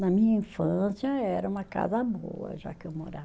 Na minha infância era uma casa boa, já que eu morava.